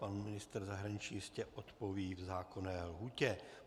Pan ministr zahraničí jistě odpoví v zákonné lhůtě.